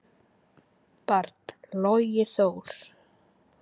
barn: Logi Þór.